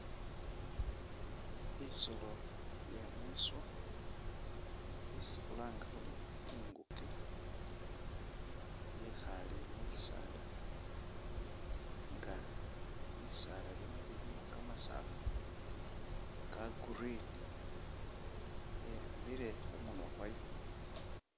Isolo inye mwiswa isi khulanga khuri ingukye yekhale mubisala nga bisala bino bilimu kamasafu ka green , yeyambile khumunwa kwayo .